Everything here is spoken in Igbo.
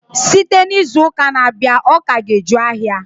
Site n'izuụka na-abịanụ, ọka ga-eju ahịa.